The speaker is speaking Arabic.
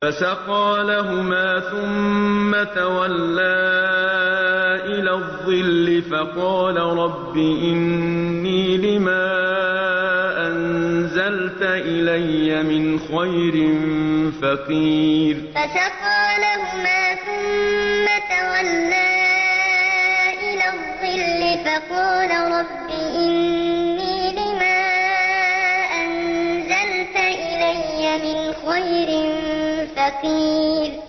فَسَقَىٰ لَهُمَا ثُمَّ تَوَلَّىٰ إِلَى الظِّلِّ فَقَالَ رَبِّ إِنِّي لِمَا أَنزَلْتَ إِلَيَّ مِنْ خَيْرٍ فَقِيرٌ فَسَقَىٰ لَهُمَا ثُمَّ تَوَلَّىٰ إِلَى الظِّلِّ فَقَالَ رَبِّ إِنِّي لِمَا أَنزَلْتَ إِلَيَّ مِنْ خَيْرٍ فَقِيرٌ